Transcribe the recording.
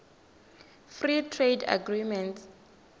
free trade agreements